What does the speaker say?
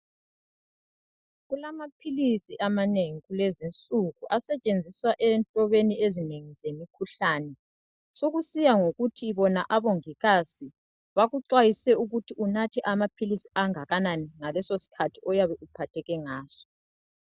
Kulamaphilisi amanengi kulezinsuku asetshenziswa enhlobeni ezinengi zemikhuhlane sokusiye ukuthi bona abongikazi bakuxwayise ukuthi unathe amaphilisi angakanani ngaleso sikhathi oyabe uphatheke ngaso.